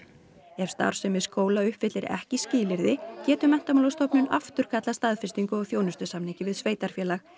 ef starfsemi skóla uppfyllir ekki skilyrði getur Menntamálastofnun afturkallað staðfestingu á þjónustusamningi við sveitarfélag